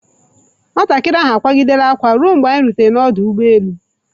Nwatakịrị ahụ akwaa gidere akwa ruo mgbe anyi rutere n'ọdụ ụgbọ elu.